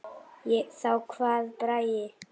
Þá kvað Bragi